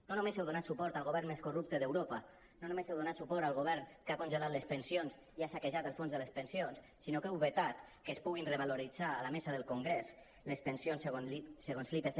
no només heu donat suport al govern més corrupte d’europa no només heu donat suport al govern que ha congelat les pensions i ha saquejat el fons de les pensions sinó que heu vetat que es puguin revaloritzar a la mesa del congrés les pensions segons l’ipc